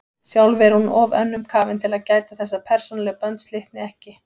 Sjálf er hún of önnum kafin til að gæta þess að persónuleg bönd slitni ekki.